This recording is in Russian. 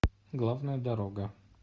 главная дорога